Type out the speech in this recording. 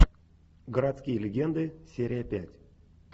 городские легенды серия пять